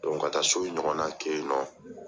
ka taa so ɲɔgɔnna kɛ yennɔ.